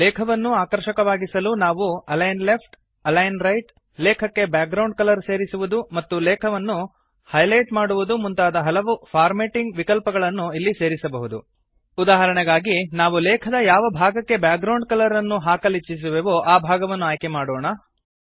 ಲೇಖವನ್ನು ಆಕರ್ಷಕವಾಗಿಸಲು ನಾವು align left align right ಲೇಖಕ್ಕೆ ಬ್ಯಾಕ್ಗ್ರೌಂಡ್ ಕಲರ್ ಸೇರಿಸುವುದು ಮತ್ತು ಲೇಖವನ್ನು ಹೈಲೈಟ್ ಮಾಡುವುದು ಮುಂತಾದ ಹಲವು ಫಾರ್ಮ್ಯಾಟಿಂಗ್ ವಿಕಲ್ಪಗಳನ್ನು ಇಲ್ಲಿ ಸೇರಿಸಬಹುದು ಉದಾಹರಣೆಗಾಗಿ ನಾವು ಲೇಖದ ಯಾವ ಭಾಗಕ್ಕೆ ಬ್ಯಾಕ್ ಗ್ರೌಂಡ್ ಕಲರ್ ಅನ್ನು ಹಾಕಲಿಚ್ಛಿಸುವೆವೋ ಆ ಭಾಗವನ್ನು ಆಯ್ಕೆ ಮಾಡೋಣ